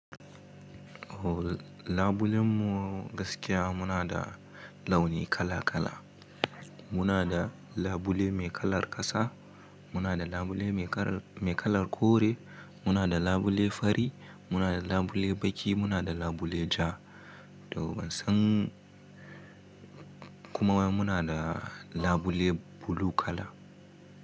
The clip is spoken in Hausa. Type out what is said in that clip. O labulen mu gaskiya muna da launi kala kala. Muna da labule mai kalar ƙasa, muna da labule mai kalar, mai kalar kore, muna da labule fari, muna da labule baki, muna da labule ja, to bansan kuma muna da labule blue kala.